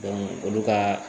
olu ka